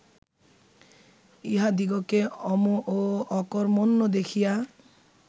ইহাদিগকে অম ও অকর্ম্মণ্য দেখিয়া